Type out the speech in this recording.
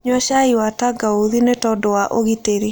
Nyua cai wa tangaũthĩ nĩtondũ wa ũgĩtĩrĩ